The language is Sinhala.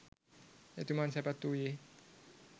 එතුමන් සැපත් වූයේ